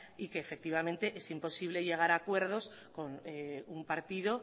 y que efectivamente es imposible llegar acuerdos con un partido